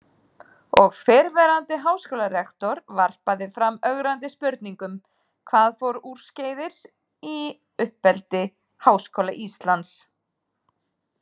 Og fyrrverandi háskólarektor varpaði fram ögrandi spurningum: Hvað fór úrskeiðis í uppeldi Háskóla Íslands?